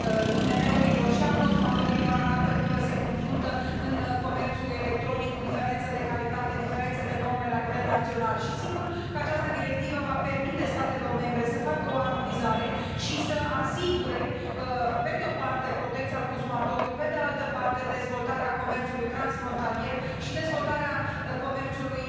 IMM urilor și a consumatorilor se confruntă în comerțul electronic cu diferențe de calitate, diferențe de norme la nivel național și sigur că această directivă va permite statelor membre să facă o armonizare și să asigure, pe de o parte protecția consumatorului, pe de altă parte, dezvoltarea comerțului transfrontalier și dezvoltarea comerțului